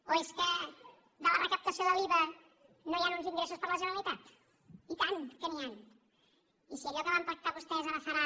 o és que de la recap·tació de l’iva no hi han uns ingressos per a la genera·litat i tant que n’hi han i si allò que van pactar vostès ara farà